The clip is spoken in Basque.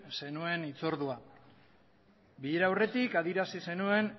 zenuen hitz ordua bilera aurretik adierazi zenuen